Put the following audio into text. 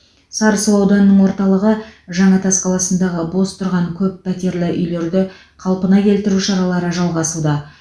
сарысу ауданының ортаылығы жаңатас қаласындағы бос тұрған көппәттерлі үйлерді қалпына келтіру шаралары жалғасуда